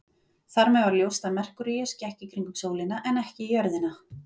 Þar með var ljóst að Merkúríus gekk í kringum sólina en ekki jörðina.